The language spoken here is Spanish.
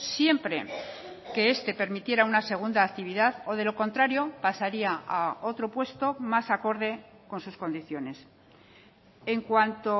siempre que este permitiera una segunda actividad o de lo contrario pasaría a otro puesto más acorde con sus condiciones en cuanto